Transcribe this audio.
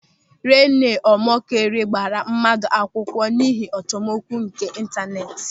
Renọ Ọmọkịrị gbara mmadụ akwụkwọ n'ihe achọmokwu nke intaneeti.